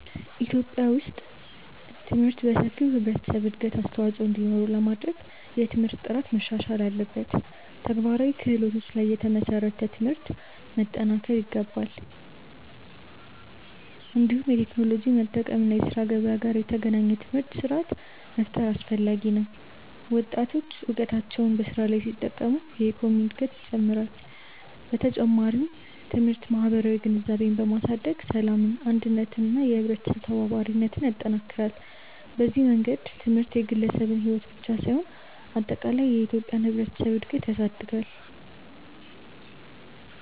በኢትዮጵያ ውስጥ ትምህርት ለሰፊው ህብረተሰብ እድገት አስተዋፅኦ እንዲኖረው ለማድረግ የትምህርት ጥራት መሻሻል አለበት፣ ተግባራዊ ክህሎቶች ላይ የተመሰረተ ትምህርት መጠናከር ይገባል። እንዲሁም የቴክኖሎጂ መጠቀም እና የስራ ገበያ ጋር የተገናኘ ትምህርት ስርዓት መፍጠር አስፈላጊ ነው። ወጣቶች እውቀታቸውን በስራ ላይ ሲጠቀሙ የኢኮኖሚ እድገት ይጨምራል። በተጨማሪም ትምህርት ማህበራዊ ግንዛቤን በማሳደግ ሰላምን፣ አንድነትን እና የህብረተሰብ ተባባሪነትን ይጠናክራል። በዚህ መንገድ ትምህርት የግለሰብን ሕይወት ብቻ ሳይሆን አጠቃላይ የኢትዮጵያን ህብረተሰብ እድገት ያሳድጋል።